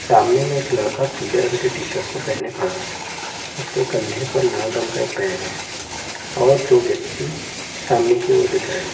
सामने में एक लड़का पीले रंग की टी शर्ट को पहन के खड़ा है उसके कंधे पर लाल रंग का एक बैग है और तो व्यक्ति सामने की ओर दिख रहे है।